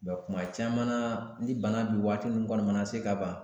kuma caman na ni bana bi waati min kɔni mana se ka ban